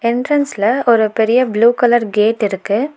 என்ட்டிரன்ஸ்ல ஒரு பெரிய blue colour gate இருக்கு.